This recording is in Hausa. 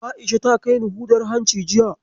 A'isha ta kai ni hudar hanci jiya.